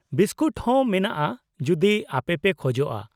Biscuit ᱦᱚᱸ, ᱢᱮᱱᱟᱜᱼᱟ ᱡᱩᱫᱤ ᱟᱯᱮᱯᱮ ᱠᱷᱚᱡᱚᱜᱼᱟ ᱾